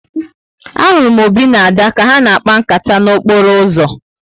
A hụrụ m Obi na Ada ka ha n'akpa nkata n'okporo uzo